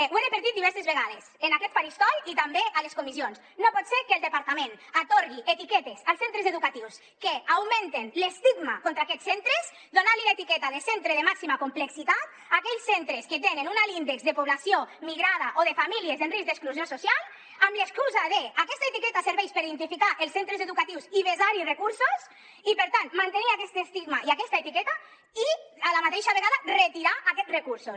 ho he repetit diverses vegades en aquest faristol i també a les comissions no pot ser que el departament atorgui etiquetes als centres educatius que augmenten l’estigma contra aquests centres donant los l’etiqueta de centre de màxima complexitat a aquells centres que tenen un alt índex de població migrada o de famílies en risc d’exclusió social amb l’excusa d’ aquesta etiqueta serveix per identificar els centres educatius i vessar hi recursos i per tant mantenir aquest estigma i aquesta etiqueta i a la mateixa vegada retirar aquests recursos